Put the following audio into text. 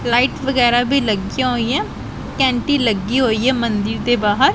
Light ਵਗੈਰਾ ਵੀ ਲੱਗਿਆਂ ਹੋਈਆਂ ਘੈਂਟੀ ਲੱਗੀ ਹੋਈਆ ਮੰਦਿਰ ਦੇ ਬਾਹਰ।